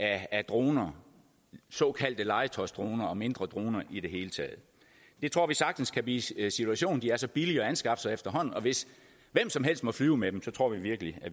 af droner såkaldte legetøjsdroner og mindre droner i det hele taget det tror vi sagtens kan blive situationen de er så billige at anskaffe efterhånden og hvis hvem som helst må flyve med dem tror vi virkelig